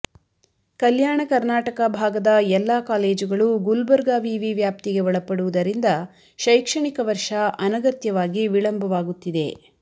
ಕಲ್ಯಾಣ ಕರ್ನಾಟಕ ಭಾಗದ ಎಲ್ಲ ಕಾಲೇಜುಗಳು ಗುಲ್ಬರ್ಗ ವಿವಿ ವ್ಯಾಪ್ತಿಗೆ ಒಳಪಡುವುದರಿಂದ ಶೈಕ್ಷಣಿಕ ವರ್ಷ ಅನಗತ್ಯವಾಗಿ ವಿಳಂಬವಾಗುತ್ತಿದೆ